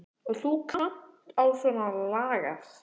Og þú kannt á svona lagað.